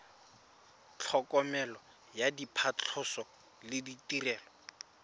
tlhokomelo ya phatlhoso le ditirelo